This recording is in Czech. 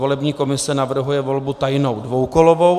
Volební komise navrhuje volbu tajnou dvoukolovou.